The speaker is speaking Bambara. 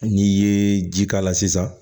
N'i ye ji k'a la sisan